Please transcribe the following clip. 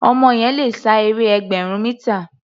Ọmọ yẹn le sá eré ẹgbẹ̀rún mítà.